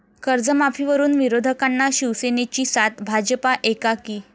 कर्जमाफीवरुन विरोधकांना शिवसेनेची साथ, भाजपा एकाकी